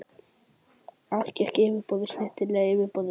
Allt gekk út á yfirborðið, snyrtilegt yfirborðið.